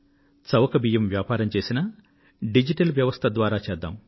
చవక బియ్యం వ్యాపారం చేసినా డిజిటల్ వ్యవస్థ ద్వారా చేద్దాం